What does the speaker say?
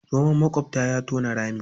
Zoman maƙwabta ya tona rami.